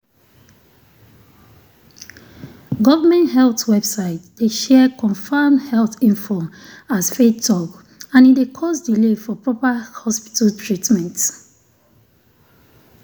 government health website dey share confirmed health info as faith talk and e dey cause delay for proper hospital treatment.